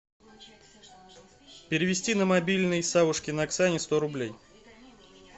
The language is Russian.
перевести на мобильный савушкиной оксане сто рублей